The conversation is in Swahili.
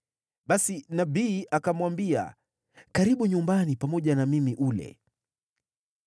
Basi nabii akamwambia, “Karibu nyumbani pamoja na mimi ule.”